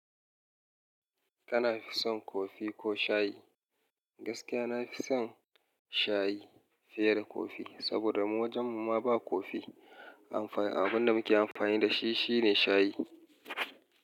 Kana fi son kofi ko shayi? Gaskiya na fi son shayi fiye da kofi, saboda mu wajen mu ma ba kofi Abun da muke amfani da shi, shi ne shayi.